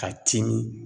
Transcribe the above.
Ka timi